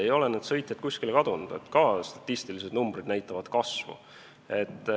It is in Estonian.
Ei ole need sõitjad kuskile kadunud, ka statistilised numbrid näitavad kasvu.